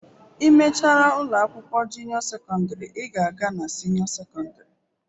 I mechara ụlọ akwụkwọ junio sekọndrị, ị ga-aga na sinio sekọndrị